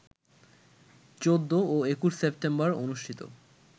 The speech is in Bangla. ১৪ ও ২১ সেপ্টেম্বর অনুষ্ঠিত